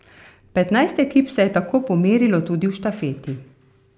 Petnajst ekip se je tako pomerilo tudi v štafeti.